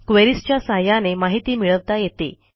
queries च्या सहाय्याने माहिती मिळवता येते